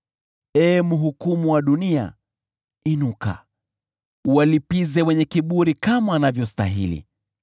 Ee Mhukumu wa dunia, inuka, uwalipize wenye kiburi kama wanavyostahili.